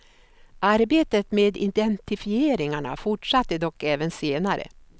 Arbetet med identifieringarna fortsatte dock även senare.